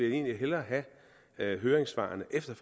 egentlig hellere have høringssvarene efter